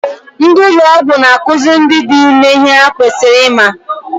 Ndị ụlọ ọgwụ n'akụziri ndị dị ime ihe ha kwesịrị ịma.